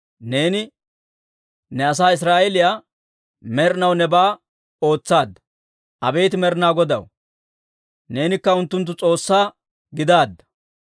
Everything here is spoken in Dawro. Neeni ne asaa Israa'eeliyaa med'inaw nebaa ootsaadda. Abeet Med'inaa Godaw, neenikka unttunttu S'oossaa gidaadda.